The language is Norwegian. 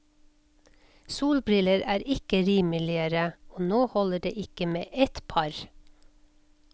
Solbriller er ikke rimeligere, og nå holder det ikke med ett par.